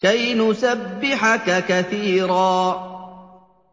كَيْ نُسَبِّحَكَ كَثِيرًا